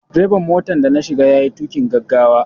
Direban motar da na shiga ya yi tuƙin gaggawa.